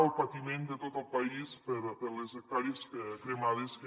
el patiment de tot el país per les hectàrees cremades que